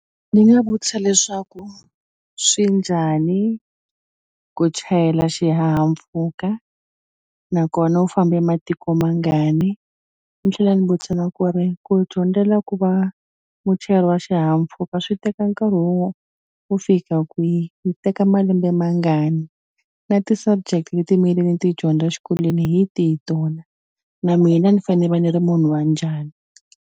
Ni nga vutisa leswaku swi njhani ku chayela xihahampfhuka nakona u fambe ematiko mangani ni tlhela ni vutisa na ku ri ku dyondzela ku va muchayeri wa xihahampfhuka swi teka nkarhi wo wo fika kwihi yi teka malembe mangani na ti-subject leti ti dyondza xikolweni hi tihi tona na mina ni fane va ni ri munhu wa njhani.